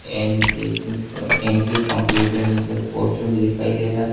MJ computer inter poster दिखाई दे रहा--